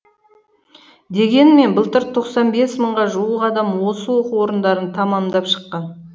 дегенмен былтыр тоқсан бес мыңға жуық адам осы оқу орындарын тәмамдап шыққан